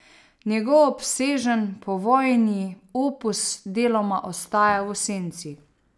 Njegov obsežen povojni opus deloma ostaja v senci.